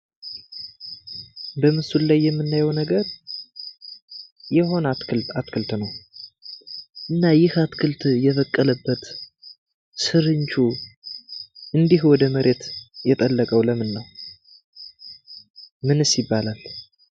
በምስሉ ላይ የምናዬው ነገር የሆነ አትክልት ነው። እና ይሄ አትክልት የበቀለበት ስርቹ እንዲህ ወደመሬት የጠለቀው ለምነው? ምንስ ይባላል?